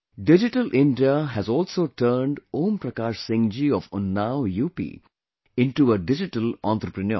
Digital India has also turned Om Prakash Singh ji of Unnao, UP into a digital entrepreneur